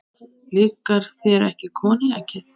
Líkar þér ekki koníakið?